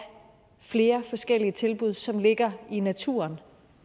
flere forskellige tilbud som ligger i naturen